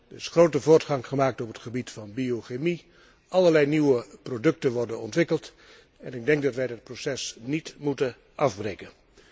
Er is grote voortgang gemaakt op het gebied van biochemie. Allerlei nieuwe producten worden ontwikkeld en ik denk dat wij dat proces niet moeten afbreken.